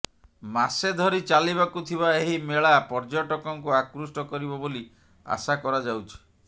ମାସେ ଧରି ଚାଲିବାକୁ ଥିବା ଏହି ମେଳା ପର୍ଯ୍ୟଟକଙ୍କୁ ଆକୃଷ୍ଟ କରିବ ବୋଲି ଆଶା କରାଯାଉଛି